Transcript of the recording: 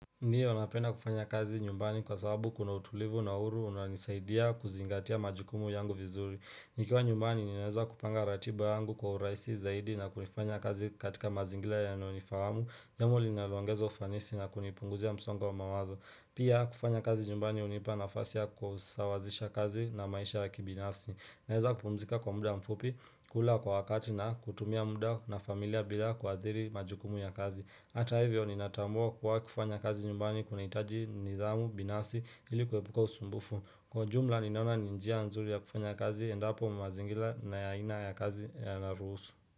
Ndiyo, napenda kufanya kazi nyumbani kwa sababu kuna utulivu na huru unanisaidia kuzingatia majukumu yangu vizuri. Nikiwa nyumbani, ninaweza kupanga ratiba yangu kwa urahisi zaidi na kunifanya kazi katika mazingira yanayo ni fahamu. Nnamo linalongezo ufanisi na kunipunguzia msongwa wa mamazo. Pia, kufanya kazi nyumbani unipa nafasi ya kusawazisha kazi na maisha ya kibinafsi. Naweza pumzika kwa mda mfupi, kula kwa wakati na kutumia mda na familia bila kwa adhiri majukumu ya kazi. Hata hivyo ni natambua kuwa kufanya kazi nyumbani kuna itaji nidhamu binasi ili kuepuka usumbufu. Kwa jumla nina ona ni njia nzuri ya kufanya kazi endapo mazingila na aina ya kazi yana ruhusu.